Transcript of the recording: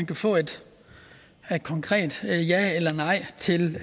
kan få et konkret ja eller nej til